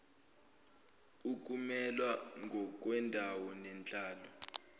ukumelwa ngokwendawo nenhlalo